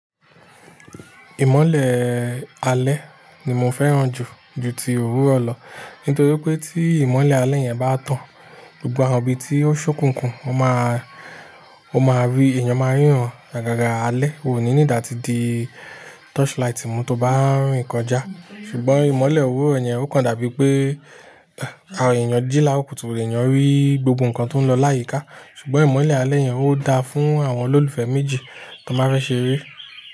Ìmọ́lẹ̀ ee alẹ́ ni mo fẹ́ràn jù, ju ti òwúrọ̀ lọ. Nítorí pé tí ìmọ́lẹ̀ alẹ́ yẹn bá tán, gbogbo àwọn ibi tí ó ṣókùnkùn, o máa, o máa rí, èèyàn máa ríran àgàgà alẹ́. O ní need a ti di torchlight ìmú tó bá ń rin kọjá. Ṣùgbọ́n ìmọ́lẹ̀ òwúrọ̀ yẹn ó kan dàbí pé, àwọn èèyàn jí lárokútù, èèyàn rí gbogbo nǹkan tó ń lọ láyìíká. Ṣùgbọ́n ìmọ́lẹ̀ alẹ́ yẹn ó dáa fún àwọn olólùfẹ́ méjì tó máa fẹ́ ṣeré.